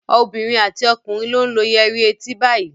Obìnrin àti ọkùnrin ló ń lo yẹrí etí báyìí.